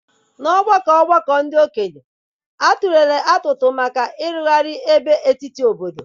N'ọgbakọ ọgbakọ ndị okenye, a tụlere atụmatụ maka ịrụgharị ebe etiti obodo.